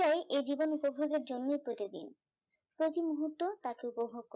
এ জীবন উপভোগের জন্যই প্রতিদিন প্রতি মুহূর্ত তাকে উপভোগ করতে হয়